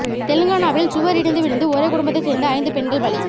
தெலங்கானாவில் சுவர் இடிந்து விழுந்து ஒரே குடும்பத்தைச் சேர்ந்த ஐந்து பெண்கள் பலி